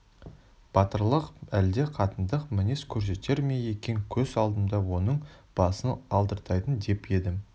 батырлық әлде қатындық мінез көрсетер ме екен көз алдымда оның басын алдыртайын деп едім